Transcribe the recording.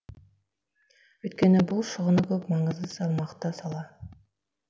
өйткені бұл шығыны көп маңызы салмақты сала